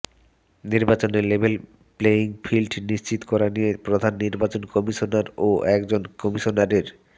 নির্বাচনে level playing field নিশ্চিত করা নিয়ে প্রধান নির্বাচন কমিশনার ও একজন কমিশনারের